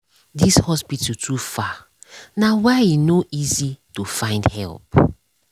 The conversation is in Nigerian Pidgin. this hospital too far nah why e no easy to find help